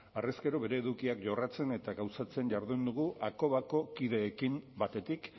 harrezkero bere edukiak jorratzen eta gauzatzen jardun dugu hakobako kideekin batetik